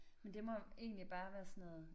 Men det må egentlig bare være sådan noget